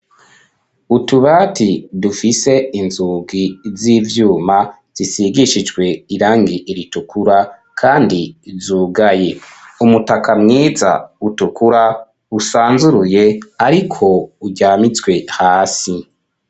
Utubati, dufise inzugi z'ivyuma, zisigishije irangi ritukura Kandi zugaye. Umutaka mwiza utukura usanzuruye ariko uryamitswe hasi.